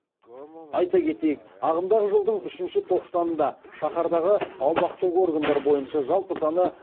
айта кетейік ағымдағы жылдың үшінші тоқсанында шаһардағы аумақтық органдар бойынша жалпы саны